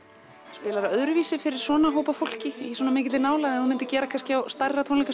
spilarðu öðruvísi fyrir svona hóp af fólki í svona mikilli nálægð en þú myndir gera kannski á stærra